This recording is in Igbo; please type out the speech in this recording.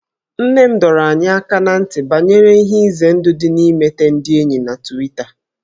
Nne m dọrọ anyị aka ná ntị banyere ihe ize ndụ dị n'imete ndị enyi na Twita